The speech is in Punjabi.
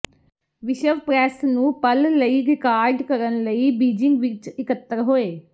ਵਿਸ਼ਵ ਪ੍ਰੈਸ ਨੂੰ ਪਲ ਲਈ ਰਿਕਾਰਡ ਕਰਨ ਲਈ ਬੀਜਿੰਗ ਵਿੱਚ ਇਕੱਤਰ ਹੋਏ